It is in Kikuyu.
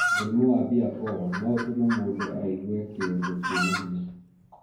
Mũrimu wa bipolar no ũtũme mũndũ aigue kĩũndũ kĩna hinya,